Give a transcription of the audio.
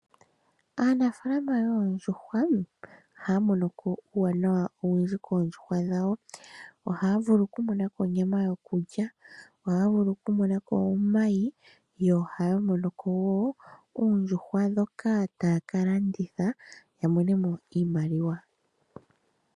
Aanafaalama yoondjuhwa ohaya monoko uuwanawa owundji koondjuhwa dhawo. Ohaya vulu okumonako onyama yokulya, ohaya vulu okumonako woo omayi yo ohaya monoko woo ondjuhwa ndhoka taya ka landitha ya monemo iimaliwa.